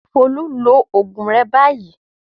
Folú lo oògùn rẹ báyìí!